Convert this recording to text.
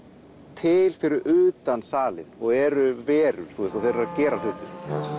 til fyrir utan salinn og eru verur og þeir eru að gera hlutina